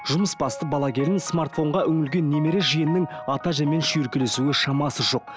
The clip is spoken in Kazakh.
жұмысбасты бала келін смартфонға үңілген немере жиеннің ата әжемен шүйіркелесуге шамасы жоқ